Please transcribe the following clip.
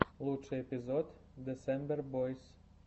лучший эпизод десембер бойс